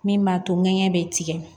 Min b'a to ŋɛɲɛ be tigɛ